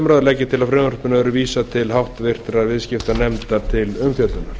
umræðu legg ég til að frumvarpinu verði vísað til háttvirtrar viðskiptanefndar til umfjöllunar